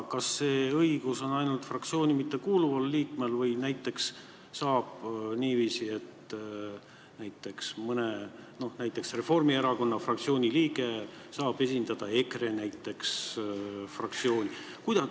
Kas see õigus on ainult fraktsiooni mittekuuluval liikmel või saab ka näiteks niiviisi, et Reformierakonna fraktsiooni liige võib esindada EKRE fraktsiooni?